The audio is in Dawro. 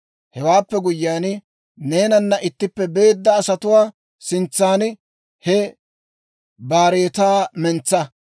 «Hewaappe guyyiyaan, neenanna ittippe beedda asatuwaa sintsan he baaretaa mentsa.